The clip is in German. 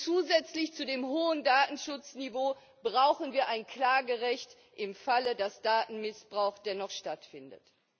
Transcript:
Zusätzlich zu dem hohen Datenschutzniveau brauchen wir ein Klagerecht für den Fall, dass Datenmissbrauch dennoch stattfindet.